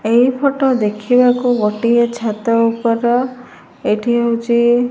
ଏହି ଫଟ ଦେଖିବାକୁ ଗୋଟିଏ ଛାତ ଉପର। ଏଠି ହୋଉଚି --